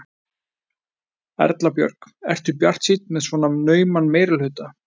Erla Björg: Ertu bjartsýnn með svona nauman meirihluta?